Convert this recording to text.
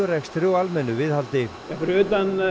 tölvurekstri og almennu viðhaldi fyrir utan